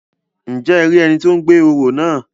Njẹ e rí ẹni tí o gbé orò náà?